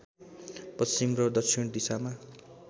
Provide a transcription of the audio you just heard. पश्चिम र दक्षिण दिशामा